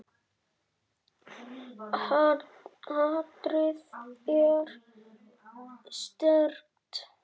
Hatrið er sterkt.